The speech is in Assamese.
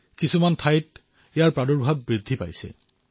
বহু স্থানত ই দ্ৰুত গতিত বিয়পিব ধৰিছে